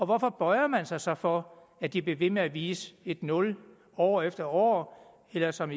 hvorfor bøjer man sig så for at de bliver ved med at vise et nul år efter år eller som